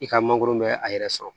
I ka mangoro bɛ a yɛrɛ sɔrɔ